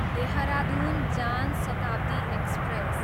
Dehradun Jan Shatabdi express